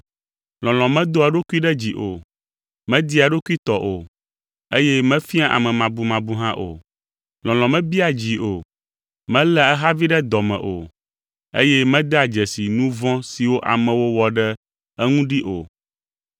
Lɔlɔ̃ medoa eɖokui ɖe dzi o, media eɖokui tɔ o, eye mefiaa amemabumabu hã o. Lɔlɔ̃ mebiaa dzi o, meléa ehavi ɖe dɔ me o, eye medea dzesi nu vɔ̃ siwo amewo wɔ ɖe eŋu ɖi o.